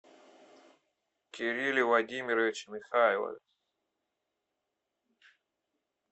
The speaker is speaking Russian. кирилле владимировиче михайлове